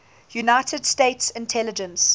united states intelligence